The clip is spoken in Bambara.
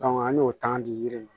an y'o tɔn di yiri ma